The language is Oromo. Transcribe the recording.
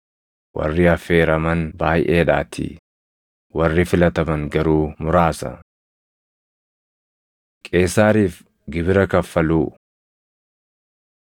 “Warri affeeraman baayʼeedhaatii; warri filataman garuu muraasa.” Qeesaariif Gibira Kaffaluu 22:15‑22 kwf – Mar 12:13‑17; Luq 20:20‑26